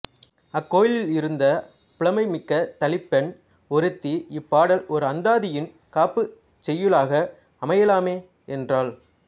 அக் கோயிலிலிருந்த புலமை மிக்க தளிப்பெண் ஒருத்தி இப்பாடல் ஓர் அந்தாதியின் காப்புச் செய்யுளாக அமையலாமே என்றாள்